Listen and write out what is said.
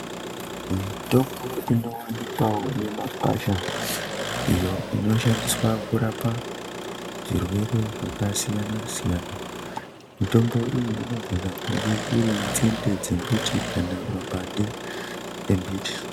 Mitombo inowanikwawo mimakwasha iyo inoshandiswa kurapa zvirwere zvakasiyana siyana mitombo iyi inogona kunge iri nzinde dzembiti kana mapande embiti.